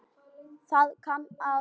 Það kann að vera